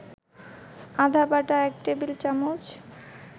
আদাবাটা ১ table চামচ